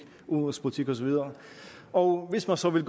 udenrigspolitik og så videre og hvis man så vil